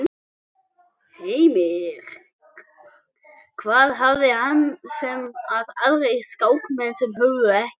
Heimir: Hvað hafði hann sem að aðrir skákmenn höfðu ekki?